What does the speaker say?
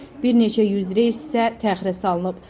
Bir neçə yüz reys isə təxirə salınıb.